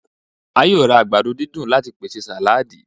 A yoo ra àgbàdo didun lati pese saladi